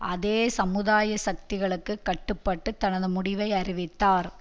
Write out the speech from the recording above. அதே சமுதாய சக்திகளுக்கு கட்டுப்பட்டு தனது முடிவை அறிவித்தார்